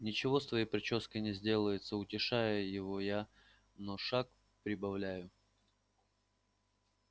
ничего с твоей причёской не сделается утешаю его я но шаг прибавляю